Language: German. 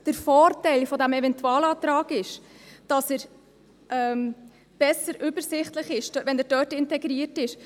Der Vorteil dieses Eventualantrags ist, dass es besser, übersichtlich ist, wenn er dort integriert ist.